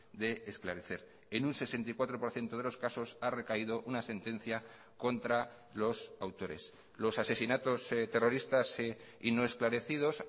de esclarecer en un sesenta y cuatro por ciento de los casos ha recaído una sentencia contra los autores los asesinatos terroristas y no esclarecidos